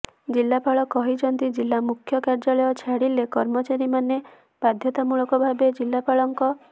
ଜିଲ୍ଲାପାଳ କହିଛନ୍ତି ଜିଲ୍ଲା ମୁଖ୍ୟ କାର୍ଯ୍ୟାଳୟ ଛାଡ଼ିଲେ କର୍ମଚାରୀମାନେ ବାଧ୍ୟତାମୂଳକ ଭାବେ ଜିଲ୍ଲାପାଳଙ୍କ